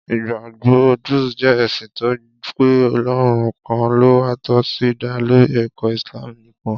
Ìgbàgbọ́ Druze jẹ́ ẹ̀sìn tó gbà pé Ọlọ́run kan ló wà tó sì dá lórí ẹ̀kọ́ Islam nìkan.